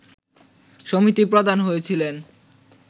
সমিতির প্রধান হয়েছিলেন